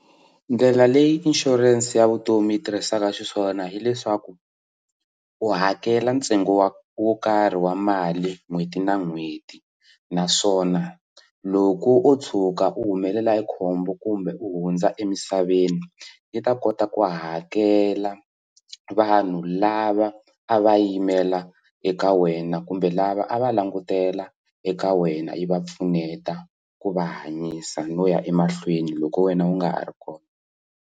Ndlela leyi inshurense ya vutomi yi tirhisaka xiswona hileswaku u hakela ntsengo wa wo karhi wa mali n'hweti na n'hweti naswona loko o tshuka u humelela hi khombo kumbe u hundza emisaveni yi ta kota ku hakela vanhu lava a va yimela eka wena kumbe lava a va langutela eka wena yi va pfuneta ku va hanyisa no ya emahlweni loko wena u nga ha ri kona.